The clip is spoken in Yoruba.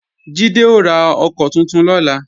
Jídé ó ra ọkọ́ tuntun lọ́la